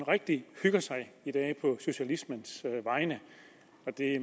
rigtig hygger sig i dag på socialismens vegne